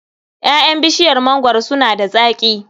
Ƴaƴan bishiyar mangwaro suna da zaƙi.